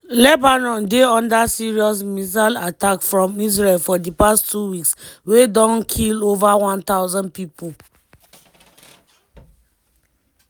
lebanon dey under serious missile attacks from israel for di past two weeks wey don kill ova 1000 pipo.